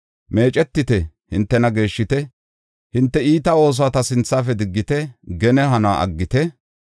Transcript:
Meecetite; hintena geeshshite; hinte iita oosuwa ta sinthafe diggite; gene hanuwa aggite.